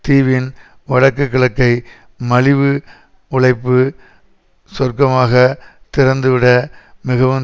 தீவின் வடக்கு கிழக்கை மலிவு உழைப்பு சுவர்க்கமாக திறந்துவிட மிகவும்